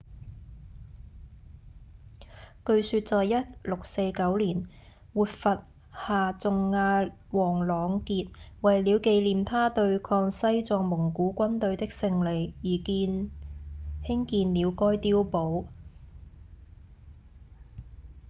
據說在1649年活佛夏仲阿旺朗傑為了紀念他對抗西藏蒙古軍隊的勝利而興建了該碉堡